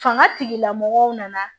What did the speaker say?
Fanga tigilamɔgɔw nana